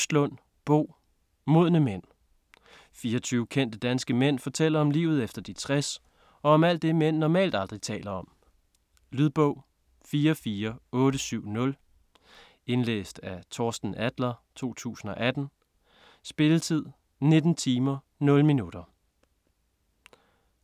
Østlund, Bo: Modne mænd 24 kendte danske mænd fortæller om livet efter de 60 og om alt det mænd normalt aldrig taler om. Lydbog 44870 Indlæst af Torsten Adler, 2018. Spilletid: 19 timer, 0 minutter.